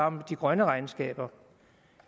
om de grønne regnskaber